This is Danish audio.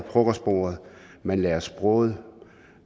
frokostbordet man lærer sproget